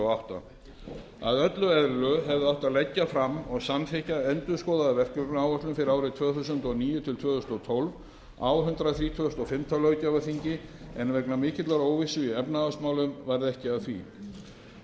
og átta að öllu eðlilegu hefði átt að leggja fram og samþykkja endurskoðaða verkefnaáætlun fyrir árin tvö þúsund og níu til tvö þúsund og tólf á hundrað þrítugasta og fimmta löggjafarþingi en vegna mikillar óvissu í efnahagsmálum varð ekki af því